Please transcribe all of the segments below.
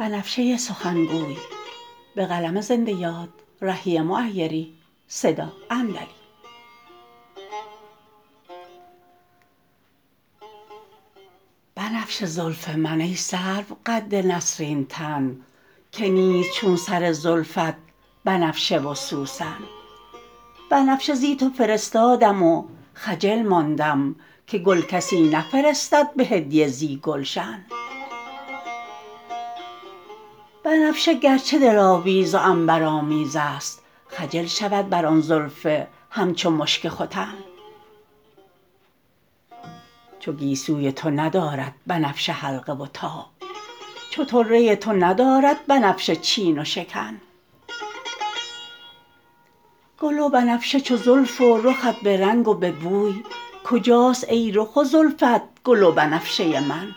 بنفشه زلف من ای سرو قد نسرین تن که نیست چون سر زلفت بنفشه و سوسن بنفشه زی تو فرستادم و خجل ماندم که گل کسی نفرستد به هدیه زی گلشن بنفشه گرچه دلاویز و عنبرآمیز است خجل شود بر آن زلف همچو مشک ختن چو گیسوی تو ندارد بنفشه حلقه و تاب چو طره تو ندارد بنفشه چین و شکن گل و بنفشه چو زلف و رخت به رنگ و به بوی کجاست ای رخ و زلفت گل و بنفشه من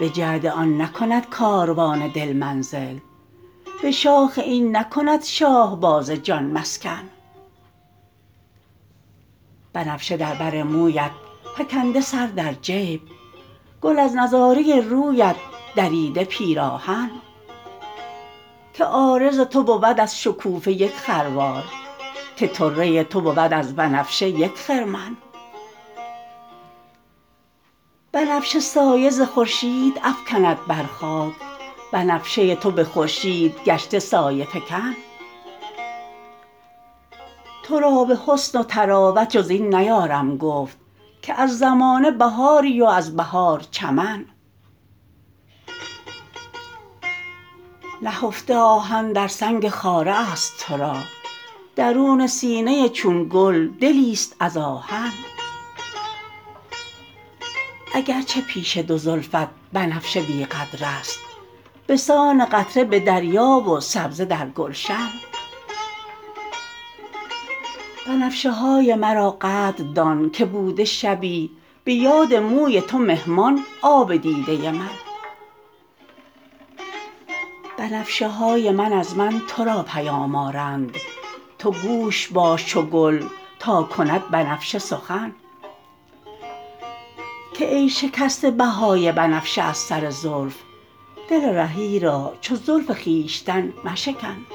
به جعد آن نکند کاروان دل منزل به شاخ این نکند شاهباز جان مسکن بنفشه در بر مویت فکنده سر در جیب گل از نظاره رویت دریده پیراهن که عارض تو بود از شکوفه یک خروار که طره تو بود از بنفشه یک خرمن بنفشه سایه ز خورشید افکند بر خاک بنفشه تو به خورشید گشته سایه فکن ترا به حسن و طراوت جز این نیارم گفت که از زمانه بهاری و از بهار چمن نهفته آهن در سنگ خاره است ترا درون سینه چون گل دلی است از آهن اگرچه پیش دو زلفت بنفشه بی قدر است بسان قطره به دریا و سبزه در گلشن بنفشه های مرا قدر دان که بوده شبی به یاد موی تو مهمان آب دیده من بنفشه های من از من ترا پیام آرند تو گوش باش چو گل تا کند بنفشه سخن که ای شکسته بهای بنفشه از سر زلف دل رهی را چون زلف خویشتن مشکن